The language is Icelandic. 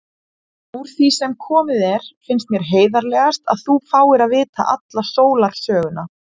Úr því sem komið er finnst mér heiðarlegast að þú fáir að vita alla sólarsöguna.